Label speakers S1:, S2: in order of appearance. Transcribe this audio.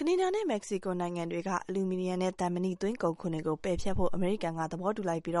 S1: ကနေဒါနဲ့ မက္ကဆီကို နိုင်ငံတွေက အလူမီနီယံနဲ့ သံမဏီ သွင်းကုန်ခွန်တွေကို ပယ်ဖျက်ဖို့ အမေရိကန်က သဘောတူလိုက်ပြီး တန